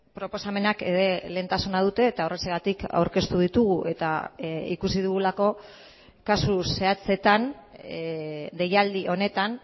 proposamenak ere lehentasuna dute eta horrexegatik aurkeztu ditugu eta ikusi dugulako kasu zehatzetan deialdi honetan